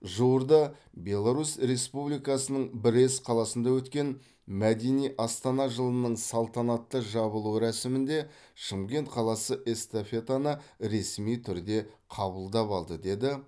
жуырда беларус республикасының брест қаласында өткен мәдени астана жылының салтанатты жабылу рәсімінде шымкент қаласы эстафетаны ресми түрде қабылдап алды деді